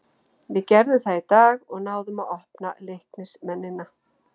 Við gerðum það í dag og náðum að opna Leiknismennina.